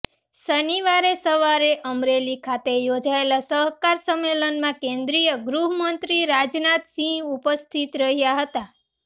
શનિવારે સવારે અમરેલી ખાતે યોજાયેલા સહકાર સંમેલનમાં કેન્દ્રિય ગૃહમંત્રી રાજનાથસિંહ ઉપસ્થિત રહ્યાં હતાં